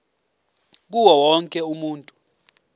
kuwo wonke umuntu